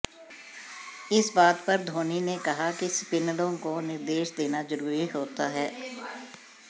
इस बात पर धोनी ने कहा कि स्पिनरों को निर्देश देना जरुरी होता है